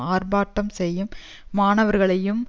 ஆர்ப்பாட்டம் செய்யும் மாணவர்களையும்